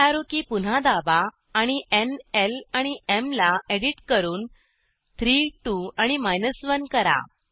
up arrow की पुन्हा दाबा आणि न् ल आणि एम ला एडिट करून 3 2 आणि 1 करा